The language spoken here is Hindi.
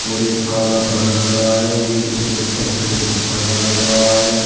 और एक काला पर्दा लग रहा है एक उसके ऊपर सफेद पर्दा लग रहा है।